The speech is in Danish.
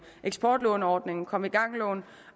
eksportlåneordningen komme i gang lån